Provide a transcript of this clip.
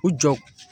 U jɔ